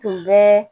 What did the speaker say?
Tun bɛ